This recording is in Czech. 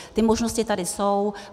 Ty možnosti tady jsou.